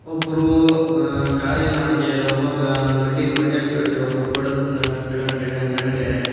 ಒಬ್ರು ಆ ಗಾರೆಯಲ್ಲಿ ಮಾಡ್ತಿದಾರೆ ಒಬ್ಬ ಮಡ್ಡಿ ಮಡ್ಡಿಯಲ್ಲಿ